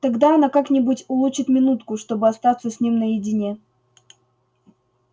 тогда она как-нибудь улучит минутку чтобы остаться с ним наедине